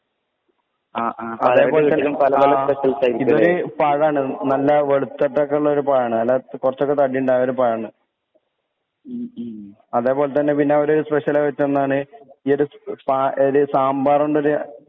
ആ ആ ഇബല് പഴാണ് നല്ല വെളുത്തിട്ടക്കൊള്ളൊരു പഴാണ് അല്ല കൊറച്ചൊക്കെ തടിണ്ടായൊരു പഴാണ് അതെ പോലെ തന്നെ പിന്നവര് സ്പെഷ്യല് വെക്കുന്നതാണ് ഈ ഒരു സ്പാ യേല് സാമ്പാറോണ്ടൊര്